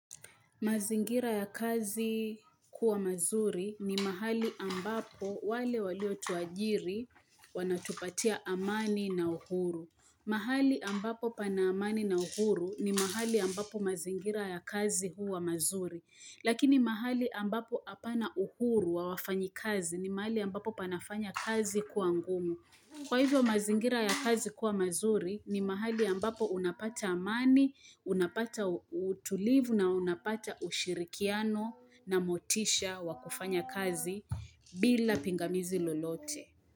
Mazingira ya kazi kuwa mazuri ni mahali ambapo wale walio tuajiri wanatupatia amani na uhuru. Mahali ambapo pana amani na uhuru ni mahali ambapo mazingira ya kazi huwa mazuri. Lakini mahali ambapo apana uhuru wa wafanyi kazi ni mahali ambapo panafanya kazi kuwa ngumu. Kwa hivyo mazingira ya kazi kuwa mazuri ni mahali ambapo unapata amani, unapata utulivu na unapata ushirikiano na motisha wakufanya kazi bila pingamizi lolote.